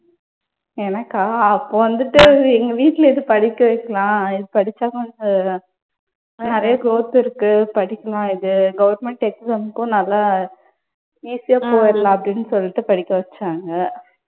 எனக்கா அப்ப வந்துட்டு எங்க வீட்டுல இது படிக்கச் வைக்கலாம். இது படிச்சா கொஞ்சம் நிறைய growth இருக்கு. படிக்கலாம் இது. Government exam கும் நல்லா easy யா போயிடலாம் அப்படின்னு சொல்லிட்டு படிக்க வச்சாங்க.